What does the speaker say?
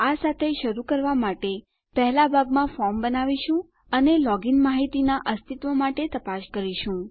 આ સાથે શરૂ કરવા માટે પહેલા ભાગમાં ફોર્મ બનાવીશું અને લોગીન માહીતીનાં અસ્તિત્વ માટે તપાસ કરીશું